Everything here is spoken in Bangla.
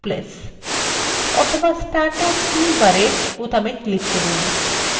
অথবা standard tool bar বোতামে click করুন